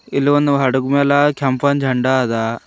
ಇಲ್ಲೊಂದು ಹಡಗಮ್ಯಾಲ ಕೆಂಪನ ಜಂಡಾ ಅದ.